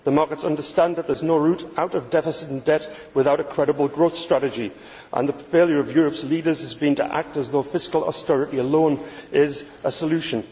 The markets understand that there is no route out of deficit and debt without a credible growth strategy, and the failure of Europe's leaders has been to act as though fiscal austerity alone is a solution.